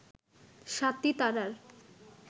স্বাতী তারার